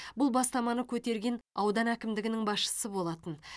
бұл бастаманы көтерген аудан әкімдігінің басшысы болатын